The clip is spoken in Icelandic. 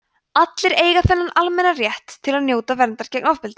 allir eiga þennan almenna rétt til að njóta verndar gegn ofbeldi